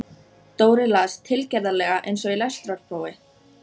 Dóri las, tilgerðarlega eins og í lestrarprófi